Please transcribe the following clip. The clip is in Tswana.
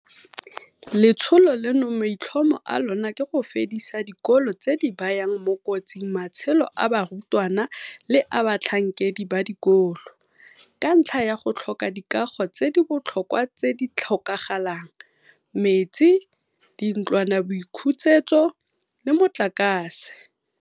Letsholo leno maitlhomo a lona ke go fedisa dikolo tse di bayang mo kotsing matshelo a barutwana le a batlhankedi ba dikolo, ka ntlha ya go tlhoka dikago tse di botlhokwa tse di tlhokagalang, metsi, dintlwanaboithusetso le motlakase.